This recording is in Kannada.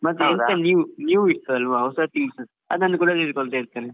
ಮತ್ತೆ new ಹೊಸ ಅದನ್ನು ಕೂಡ ತಿಳ್ಕೊಳ್ತಾಇರ್ತೇನೆ.